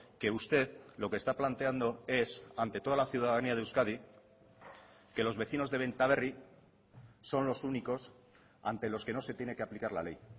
que usted lo que está planteando es ante toda la ciudadanía de euskadi que los vecinos de benta berri son los únicos ante los que no se tiene que aplicar la ley